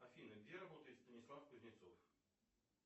афина где работает станислав кузнецов